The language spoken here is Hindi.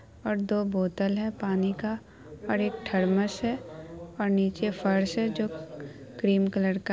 और दो बोटल है पानी का और एक थर्मस है नीचे फर्श है जो क्रीम कलर का--